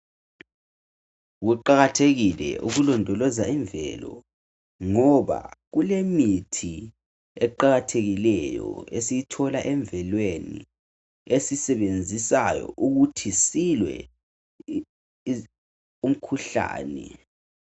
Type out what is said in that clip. Kuqakathekile ukulondoloza imvelo, ngoba kulemithi eqakathekileyo, esiyithola emvelweni. Esiyisebenzisa ukuba silwe lomkhuhlane.